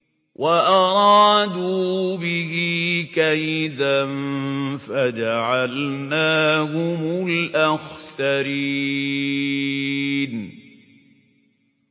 وَأَرَادُوا بِهِ كَيْدًا فَجَعَلْنَاهُمُ الْأَخْسَرِينَ